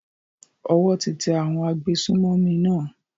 Owó ti tẹ àwọn agbésùnmọ̀mí náà.